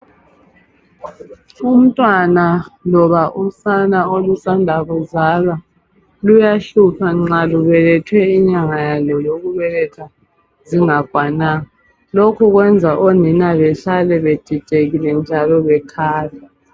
Umntwana loba usana olusanda kuzalwa luyahlupha nxa lubelethwe inyanga yalo yokubeletha ingakwananga lokhu kwenza onina behlale bedidekile njalo bekhala.